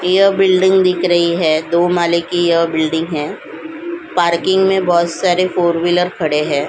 यह बिल्डिंग दिख रही है दो माले की यह बिल्डिंग है पार्किंग में बहुत सारे फोर व्हीलर खड़े हैं।